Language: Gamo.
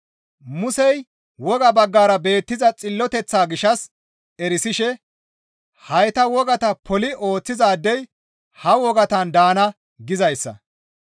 Musey woga baggara beettiza xilloteththaa gishshas erisishe, «Hayta wogata poli ooththizaadey ha wogatan daana» gizayssa.